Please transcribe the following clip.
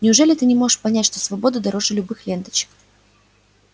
неужели ты не можешь понять что свобода дороже любых ленточек